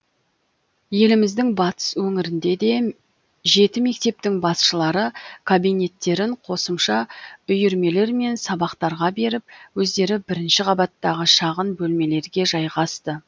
еліміздің батыс өңірінде де жеті мектептің басшылары кабинеттерін қосымша үйірмелер мен сабақтарға беріп өздері бірінші қабаттағы шағын бөлмелерге жайғасты